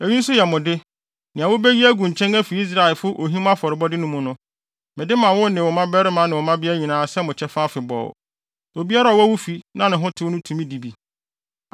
“Eyi nso yɛ mo de: nea wobeyi agu nkyɛn afi Israelfo ohim afɔrebɔde mu no. Mede ma wo ne wo mmabarima ne wo mmabea nyinaa sɛ mo kyɛfa afebɔɔ. Obiara a ɔwɔ wo fi na ne ho tew no tumi di bi.